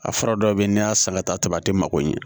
A fura dɔ bɛ yen n'i y'a san ka taa tɛmɛ a tɛ mago ɲɛ